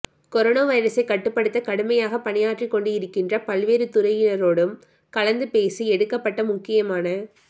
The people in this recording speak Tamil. கொரோனா வைரஸைக் கட்டுப்படுத்த கடுமையாக பணியாற்றிக்கொண்டு இருக்கின்ற பல்வேறு துறையினரோடும் கலந்து பேசி எடுக்கப்பட்ட முக்கியமான